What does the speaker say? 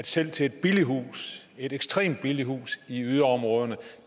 selv til et billigt hus et ekstremt billigt hus i yderområderne